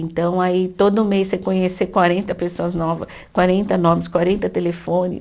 Então, aí todo mês você conhecer quarenta pessoas nova, quarenta nomes, quarenta telefone.